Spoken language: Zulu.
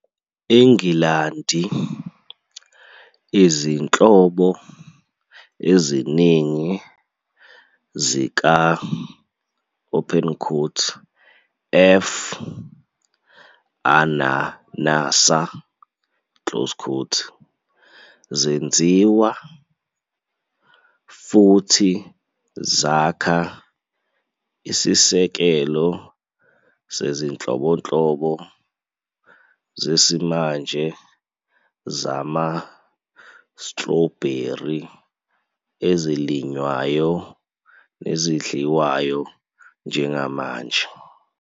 ENgilandi, izinhlobo eziningi zika- "F. ananassa" zenziwa, futhi zakha isisekelo sezinhlobonhlobo zesimanje zama-strawberry ezilinywayo nezidliwayo njengamanje.